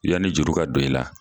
Yan ni juru ka don i la